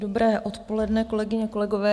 Dobré odpoledne, kolegyně, kolegové.